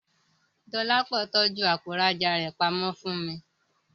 Dọlápọ̀ tọ́jú àpò ìrajà rẹ pamọ́ fún mi